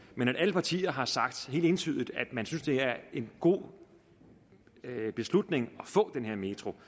men at alle partier har sagt helt entydigt at man synes det er en god beslutning at få den her metro